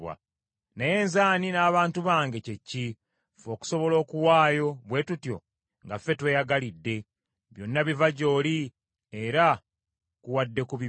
“Naye nze ani n’abantu bange kye ki, ffe okusobola okuwaayo bwe tutyo nga ffe tweyagalidde? Byonna biva gy’oli, era tukuwadde ku bibyo.